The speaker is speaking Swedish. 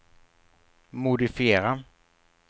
modifiera